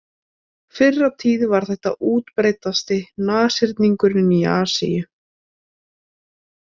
Fyrr á tíð var þetta útbreiddasti nashyrningurinn í Asíu.